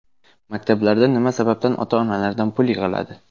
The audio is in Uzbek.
Maktablarda nima sababdan ota-onalardan pul yig‘iladi?